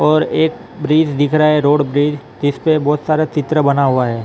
और एक ब्रिज दिख रहा हैं रोड ब्रिज जिस पर बहुत सारा चित्र बना हुआ हैं ।